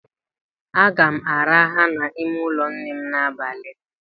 Aga m araha n'ime ụlọ nnem n'abalị a